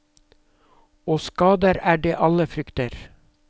Og skader er det alle frykter.